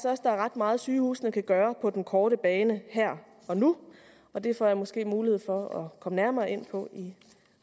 også der er ret meget sygehusene kan gøre på den korte bane her og nu og det får jeg måske mulighed for at komme nærmere ind på i